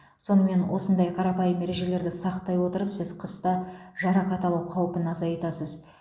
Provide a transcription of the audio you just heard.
сонымен осындай қарапайым ережелерді сақтай отырып сіз қыста жарақат алу қаупін азайтасыз